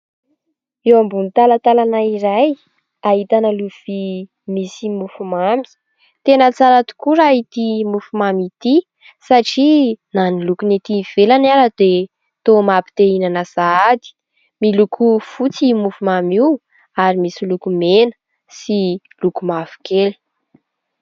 Eo ambony talantalana iray; ahitana lovia, misy mofo mamy; tena tsara tokoa raha ity mofo mamy ity satria na ny lokony ety ivelany aza dia toa mampite-hihinana sahady; miloko fotsy io mofo mamy io ary misy loko mena sy loko mavokely.